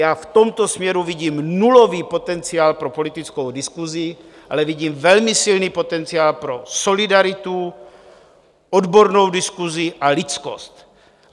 Já v tomto směru vidím nulový potenciál pro politickou diskusi, ale vidím velmi silný potenciál pro solidaritu, odbornou diskusi a lidskost.